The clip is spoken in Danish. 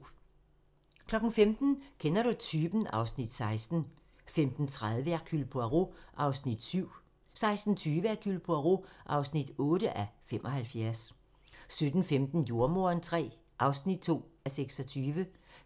15:00: Kender du typen? (Afs. 16) 15:30: Hercule Poirot (7:75) 16:20: Hercule Poirot (8:75) 17:15: Jordemoderen III (2:26)